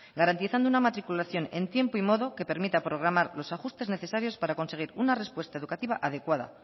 garantizando una matriculación en tiempo y modo que permita programar los ajustes necesarios para conseguir una respuesta educativa adecuada